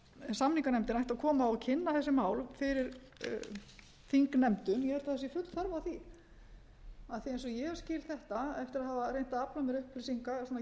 samninganefndir ættu að koma og kynna þessi mál fyrir þingnefndum ég held að sé full þörf á því af því eins og ég hef skilið þetta eftir að hafa reynt að afla mér upplýsinga svona héðan